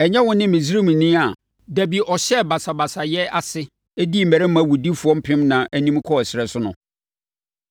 Ɛnyɛ wo ne Misraimni a da bi ɔhyɛɛ basabasayɛ ase dii mmarima awudifoɔ mpemnan anim kɔɔ ɛserɛ so no?”